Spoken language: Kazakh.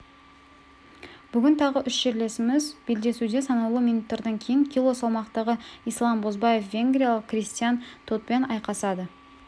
бүгін тағы үш жерлесіміз белдесуде санаулы минуттардан кейін кило салмақтағы ислам бозбаев венгриялық кристиан тотпен айқасады